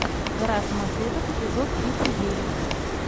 гора самоцветов эпизод тридцать девять